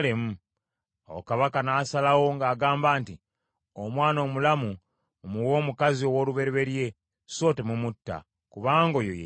Awo kabaka n’asalawo ng’agamba nti, “Omwana omulamu mumuwe omukazi ow’olubereberye, so temumutta, kubanga oyo ye nnyina.”